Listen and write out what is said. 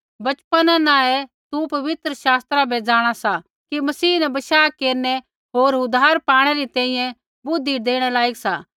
वचपना न ही तू पवित्र शास्त्रा बै जाँणा सा कि मसीह न बशाह केरनै होर उद्धार पाणै री तैंईंयैं बुद्धि देणै लायक सा